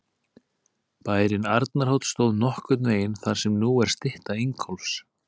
Bærinn Arnarhóll stóð nokkurn veginn þar sem nú er stytta Ingólfs.